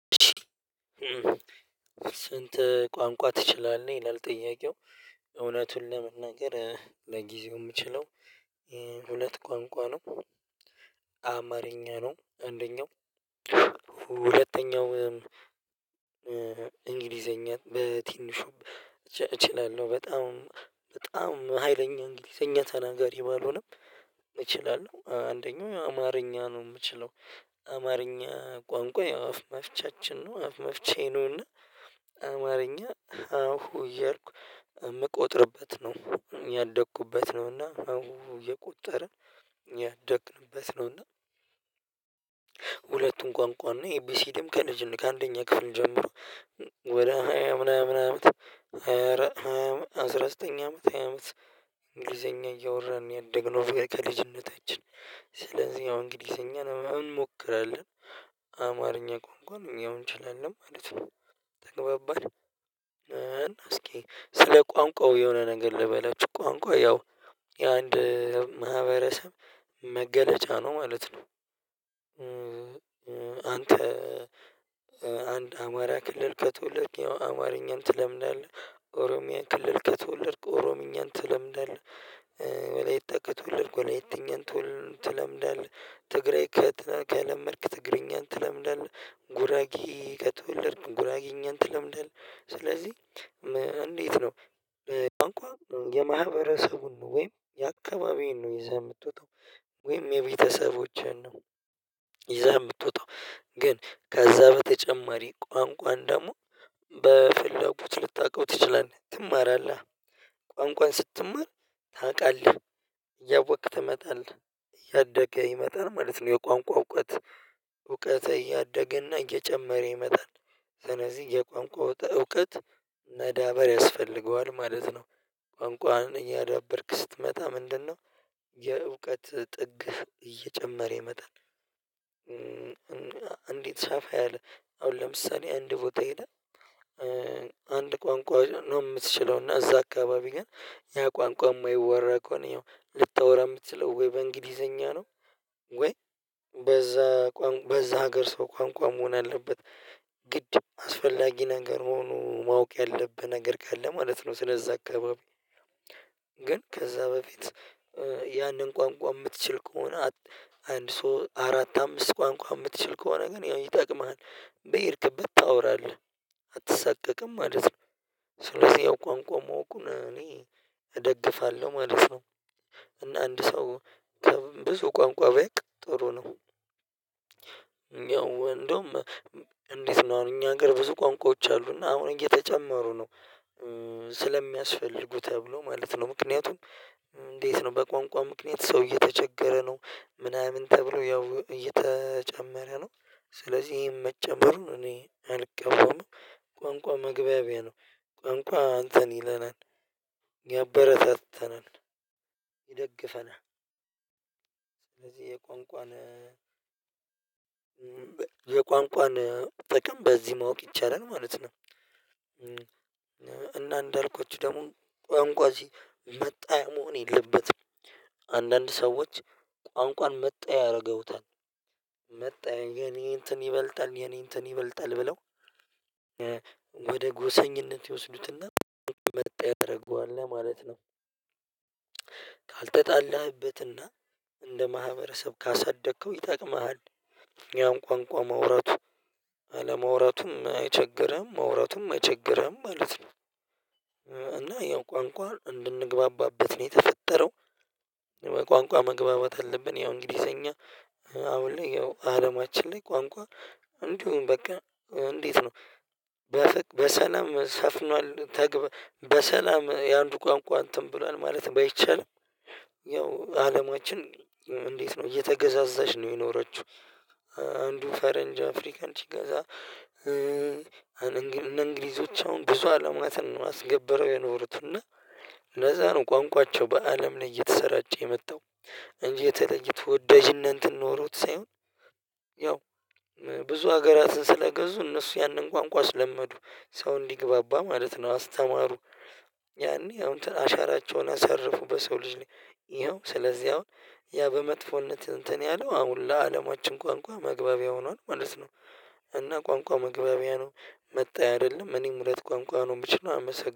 "ስንት ቋንቋ ትችላለህ?" ይላል ጥያቄው። እውነቱን ለመናገር ለጊዜው የምችለው ሁለት ቋንቋ ነው። አማርኛ ነው አንደኛው ሁለተኛው እንግሊዘኛ በትንሹ እችላለሁ። በጣም በጣም ሀይለኛ እንግሊዘኛ ተናጋሪ ባልሆነም እችላለሁ። አንደኛው አማርኛ ነው የምችለው። አማርኛ ቋንቋ ያው አፍ መፍቻችን ነው አፍ መፍቻዬ ነው፤ እና አማርኛ ሃሁ እያልኩ የምቆጥርበት ነው። ያደኩበት ነውና ሃሁ እየቆጠርን ያደግንበት ነውና ሁለቱን ቋንቋና ኤቢሲዲም ከልጅነ ከአንደኛ ክፍል ጀምሮ ወደ ሃያ ምናምን አመት ሃያ አራ ሃያ አስራ ዘጠኝ አመት ሃያ አመት እንግሊዘኛ እያወራን ነው ያደግነው ከልጅነታችን። ስለዚህ ያው እንግሊዘኛ ምን እንሞክራለን። አማርኛ ቋንቋን እኛም እንችላለን ማለት ነው ተግባባን እስኪ ስለ ቋንቋው የሆነ ነገር ልበላችሁ ቋንቋ ያው የአንድ ማህበረሰብ መገለጫ ነው ማለት ነው አንተ አንድ አማራ ክልል ከተወለድክ አማርኛን ትለምዳለህ ኦሮሚያ ክልል ከተወለድክ ኦሮሚኛን ትለምዳለህ ወላይታ ከተወለድክ ወላይተኛን ትለምዳለህ ትግሬ ከለመድክ ትግሬኛን ትለምዳለህ ጉራጌ ከትወለድክ ጉራጌኛን ትለምዳለህ ስለዚህ እንዴት ነው ቋንቋ የማህበረሰቡን ነው ወይም የአካባቢዬን ነው ይዘህ የምትወጣው ወይም የቤተሰቦቼን ነው ይዘህ የምትወጣው ግን ከዛ በተጨማሪ ቋንቋን ደግሞ በፍላጎት ልታውቀው ትችላለህ ትማራለህ ቋንቋን ስትማር ታውቃለህ እያወቅክ ትመጣለህ እያደገ ይመጣል ማለት ነው የቋንቋ እውቀትህ እያደገ እና እየጨመረ ይመጣል ስለዚህ የቋንቋው እውቀት መዳበር ያስፈልገዋል ማለት ነው ቋንቋውን እኛ ዳበርክ ስትመጣ ምንድነው የእውቀት ጥግህ እየጨመረ ይመጣል እንዲት ሰፋ ያለ አሁን ለምሳሌ አንድ ቦታ ሄደህ አንድ ቋንቋ ነው የምትችለው እና እዛ አካባቢ ግን ያ ቋንቋ የማይወራ ከሆነ ልታወራ የምትችለው ወይ በእንግሊዘኛ ነው ወይ በዛ ቋንቋ በዛ ሀገር ሰው ቋንቋ መሆን አለበት ግድ አስፈላጊ ነገር መሆኑ ማወቅ ያለብህ ነገር ካለ ማለት ነው ስለዛ አካባቢ ግን ከዛ በፊት ያንን ቋንቋ የምትችል ከሆነ አንድ ሶስት አራት አምስት ቋንቋ የምትችል ከሆነ ግን ያው ይጠቅምሃል በሄድክ ብታወራለህ አትሰቀቅም ማለት ነው ስለዚህ ያው ቋንቋ ማወቁን እኔ እደግፋለሁ ማለት ነው እና አንድ ሰው ከብዙ ቋንቋ ቢያውቅ ጥሩ ነው እኛ እንደውም እንዴት ነው እኛ ሀገር ብዙ ቋንቋዎች አሉ እና አሁን እየተጨመሩ ነው ስለሚያስፈልጉ ተብሎ ማለት ነው ምክንያቱም እንዴት ነው በቋንቋ ምክንያት ሰው እየተቸገረ ነው ምናምን ተብሎ ያው እየተጨመረ ነው ስለዚህ መጨመሩን እኔ አልቃወምም ቋንቋ መግባቢያ ነው ቋንቋ እንተን ይለናል ያበረታታናል ይደግፈናል ስለዚህ የቋንቋን የቋንቋን ጥቅም በዚህ ማወቅ ይቻላል ማለት ነው እና እንዳልኳችሁ ደግሞ ቋንቋ መጣያ መሆን የለበትም አንዳንድ ሰዎች ቋንቋን መጣያ ያደርጉታል መጣያ የኔ እንትን ይበልጣል የኔ እንትን ይበልጣል ብለው ወደ ጎሰኝነት ይወሰዱትና መጣያ ያደርገዋል ማለት ነው ካልተጣለህበትና እንደ ማህበረሰብ ካሳደከው ይጠቅምሃል ያውም ቋንቋ ማውራቱ አለመውረቱም አይቸግርህም መውራቱም አይቸገርህም ማለት ነው እና ያው ቋንቋ እንድንግባባበት ነው በተፈጠረው ቋንቋ መግባባት አለብን ያው እንግሊዘኛ አሁን ላይ ያው አለማችን ላይ ቋንቋ እንዲሁም በቃ እንዴት ነው በሰላም ሰፍኗል ተግባ በሰላም የአንዱ ቋንቋ እንትን ብሏል ማለት ባይቻልም ያው አለማችን እንዴት ነው እየተገዛዛች ነው የኖረችው አንዱ ፈረንጅ አፍሪካን ሲገዛ እንግሊዞች አሁን ብዙ አለማትን አስገብረው የኖሩትና ለዛ ነው ቋንቋቸው በአለም ላይ እየተሰራጨ የመጣው እንጂ የተለየ ተወዳጅነት ኖሮት ሳይሆን ያው ብዙ ሀገራትን ስለገዙ እነሱ ያንን ቋንቋ ስለመዱ ሰው እንዲግባባ ማለት ነው አስተማሩ ያኔ አሁን እንትን አሻራቸውን አሳርፉ በሰው ልጅ ላይ ይኸው ስለዚህ አሁን ያ በመጥፎነት እንትን ያለው አሁን ለአለማችን ቋንቋ መግባቢያ ሆኗል ማለት ነው እና ቋንቋ መግባቢያ ነው መጣያ አይደለም እኔም ሁለት ቋንቋ ነው የምችለው አመሰግናለሁ